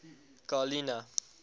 garlina